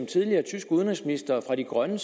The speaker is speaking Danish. tidligere tysk udenrigsminister fra de grønne